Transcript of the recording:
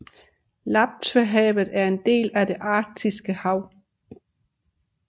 Laptevhavet er en del af det Arktiske Hav